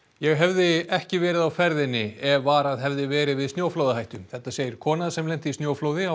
ég hefði ekki verið á ferðinni ef varað hefði verið við snjóflóðahættu þetta segir kona sem lenti í snjóflóði á